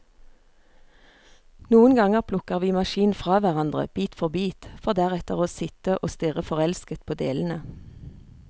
Noen ganger plukker vi maskinen fra hverandre, bit for bit, for deretter å sitte og stirre forelsket på delene.